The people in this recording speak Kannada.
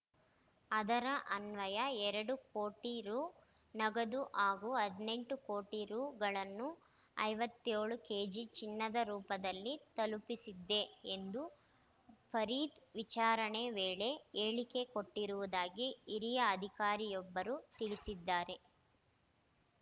ಅದರ ಅನ್ವಯ ಎರಡು ಕೋಟಿ ರು ನಗದು ಹಾಗೂ ಹದಿನೆಂಟು ಕೋಟಿ ರುಗಳನ್ನು ಐವತ್ಯೋಳು ಕೆಜಿ ಚಿನ್ನದ ರೂಪದಲ್ಲಿ ತಲುಪಿಸಿದ್ದೆ ಎಂದು ಫರೀದ್‌ ವಿಚಾರಣೆ ವೇಳೆ ಹೇಳಿಕೆ ಕೊಟ್ಟಿರುವುದಾಗಿ ಹಿರಿಯ ಅಧಿಕಾರಿಯೊಬ್ಬರು ತಿಳಿಸಿದ್ದಾರೆ